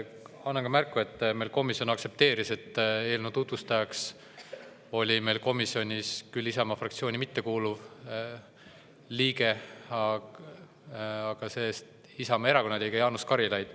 Annan ka märku, et komisjon aktsepteeris, et eelnõu tutvustajaks oli meil komisjonis Isamaa fraktsiooni küll mittekuuluv liige, aga see-eest Isamaa Erakonna liige Jaanus Karilaid.